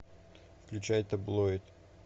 включай таблоид